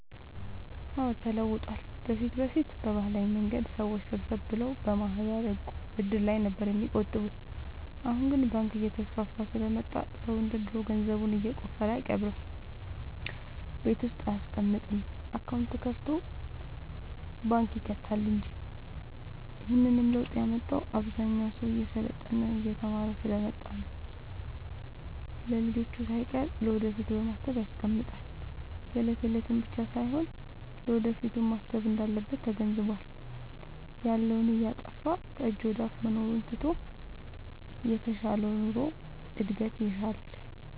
አዎድ ተለውጧል በፊት በፊት በባህላዊ መንገድ ሰዎች ሰብሰብ ብለው በማህበር፣ ዕቁብ፣ እድር ላይ ነበር የሚቆጥቡት አሁን ግን ባንክ እየተስፋፋ ስለመጣ ሰው እንደ ድሮ ገንዘቡን የቆፈረ አይቀብርም ቤት ውስጥ አይያስቀምጥም አካውንት ከፋቶ ባንክ ይከታል እንጂ ይህንንም ለውጥ ያመጣው አብዛኛው ሰው እየሰለጠነ የተማረ ስሐ ስለመጣ ነው። ለልጅቹ ሳይቀር ለወደፊት በማሰብ ያስቀምጣል የለት የለቱን ብቻ ሳይሆን ለወደፊቱም ማሰብ እንዳለበት ተገንዝቧል። ያለውን እያጠፋፋ ከጅ ወደአፋ መኖሩን ትቶ የተሻለ ኑሮ እድገት ይሻል።